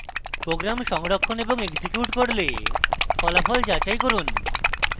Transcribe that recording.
program সংরক্ষণ এবং execute করে ফলাফল যাচাই করুন